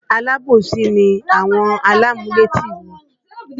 Alábòsí ni àwọn alámúlétì mi